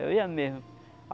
Eu ia mesmo.